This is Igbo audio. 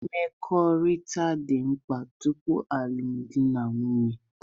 Mkpakọrịta dị mkpa tupu alụmdi na nwunye